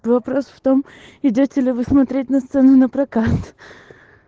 вопрос в том идёте ли вы смотреть на цены на прокат